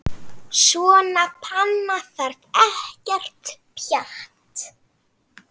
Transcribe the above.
Svona panna þarf ekkert pjatt.